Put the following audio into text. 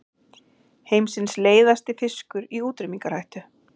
Heimsins leiðasti fiskur í útrýmingarhættu